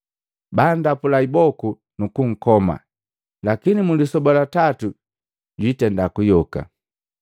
bandapula iboku nu kunkoma. Lakini mu lisoba la tatu jwiitenda kuyoka.”